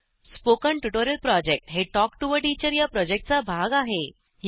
spoken tutorial project हे talk to teacher या प्रॉजेक्टचा भाग आहे